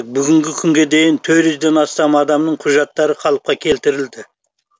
бүгінгі күнге дейін төрт жүзден астам адамның құжаттары қалыпқа келтірілді